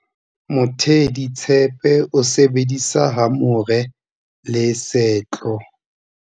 Moteaditshepe o sebedisa hamore le tshetlo.